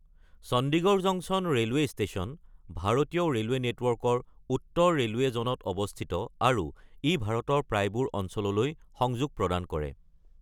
Chandigarh junction railway station ভাৰতীয় railway নেটৱৰ্কৰ উত্তৰ ৰেলৱে জ'নত অৱস্থিত আৰু ই ভাৰতৰ প্ৰায়বোৰ অঞ্চললৈ সংযোগ প্ৰদান কৰে।